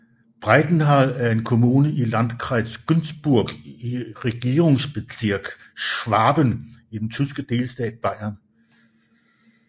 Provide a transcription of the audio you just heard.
Breitenthal er en kommune i Landkreis Günzburg i Regierungsbezirk Schwaben i den tyske delstat Bayern